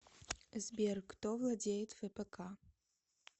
сбер кто владеет фпк